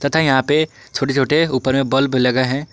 तथा यहां पे छोटे छोटे ऊपर में बल्ब लगा है।